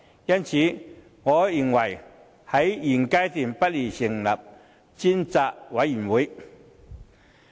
因此，我認為現階段不宜成立專責委員會。